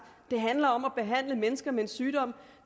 det handler om at behandle mennesker med en sygdom